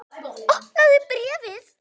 Opnaðu bréfið!